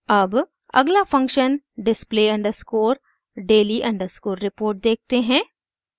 अब अगला function display underscore daily underscore report देखते हैं